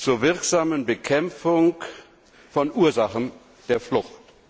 zur wirksamen Bekämpfung der Ursachen der Flucht.